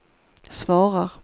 svarar